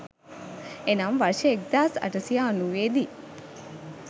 එනම් වර්ෂ 1890 දී